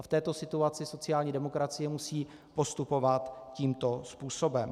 A v této situaci sociální demokracie musí postupovat tímto způsobem.